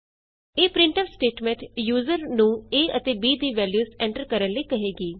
ਇਹ printf statement user ਨੂੰ a ਅਤੇ b ਦੀ ਵੈਲਯੂਸ ਐਂਟਰ ਕਰਨ ਲਈ ਕਹੇਗੀ